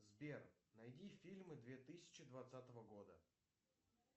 сбер найди фильмы две тысячи двадцатого года